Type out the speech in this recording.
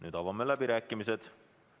Nüüd avame läbirääkimised.